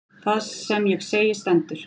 Það sem ég segi stendur.